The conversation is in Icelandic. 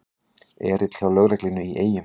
Erill hjá lögreglunni í Eyjum